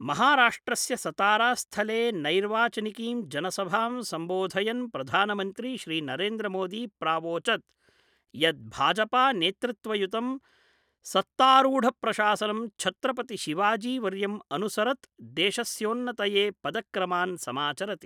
महाराष्ट्रस्य सतारा स्थले नैर्वाचानिकीं जनसभां सम्बोधयन् प्रधानमन्त्री श्रीनरेन्द्रमोदी प्रावोचद् यत् भाजपा नेतृत्वयुतं सत्तारूढप्रशासनं छत्रपति शिवाजीवर्यम् अनुसरत् देशस्योन्नतये पदक्रमान् समाचरति।